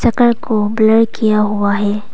घर को ब्लर किया हुआ है।